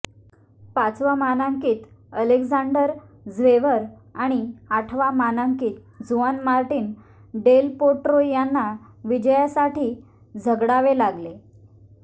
पाचवा मानांकित Alexander Zverev आणि आठवा मानांकित जुआन मार्टिन डेल पोट्रो यांना विजयासाठी झगडावे लागले